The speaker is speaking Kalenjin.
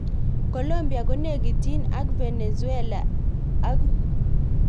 Colombia konekityin ak Venezuela ak kongen Guaido ko kandoindet.